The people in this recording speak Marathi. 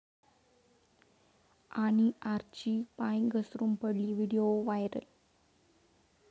...आणि आर्ची पाय घसरून पडली?, व्हिडिओ व्हायरल